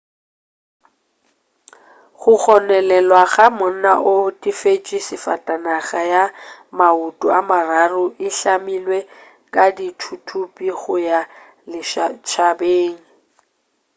go gononelwa go monna o otetše safatanaga ya maoto a mararo e hlamilwe ka dithuthupi go ya lešhabeng